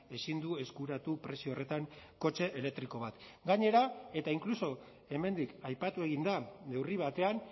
ezin du eskuratu prezio horretan kotxe elektriko bat gainera eta inkluso hemendik aipatu egin da neurri batean